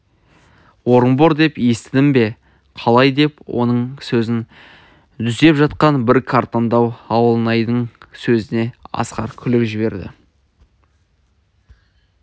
орынбор деп естідім бе қалай деп оның сөзін түзеп жатқан бір қартаңдау ауылнайдың сөзіне асқар күліп жіберді